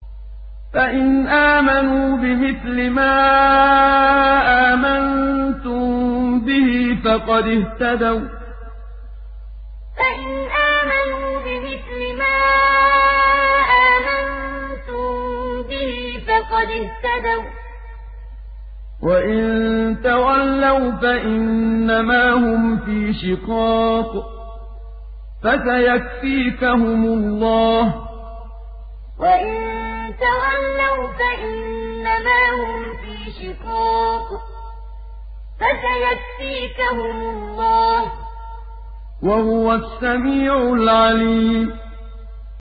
فَإِنْ آمَنُوا بِمِثْلِ مَا آمَنتُم بِهِ فَقَدِ اهْتَدَوا ۖ وَّإِن تَوَلَّوْا فَإِنَّمَا هُمْ فِي شِقَاقٍ ۖ فَسَيَكْفِيكَهُمُ اللَّهُ ۚ وَهُوَ السَّمِيعُ الْعَلِيمُ فَإِنْ آمَنُوا بِمِثْلِ مَا آمَنتُم بِهِ فَقَدِ اهْتَدَوا ۖ وَّإِن تَوَلَّوْا فَإِنَّمَا هُمْ فِي شِقَاقٍ ۖ فَسَيَكْفِيكَهُمُ اللَّهُ ۚ وَهُوَ السَّمِيعُ الْعَلِيمُ